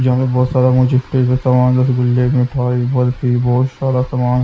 जहाँ बहुत सारा मुझे समान रसगुल्ले मिठाई बर्फ़ी बहुत सारा समान--